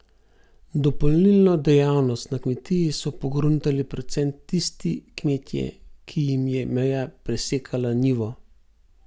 Dopolnilno dejavnost na kmetiji so pogruntali predvsem tisti kmetje, ki jim je meja presekala njivo.